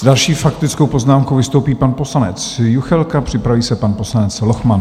S další faktickou poznámkou vystoupí pan poslanec Juchelka, připraví se pan poslanec Lochman.